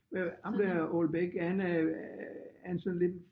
Øh ham der Houellebecq er han øh er han sådan lidt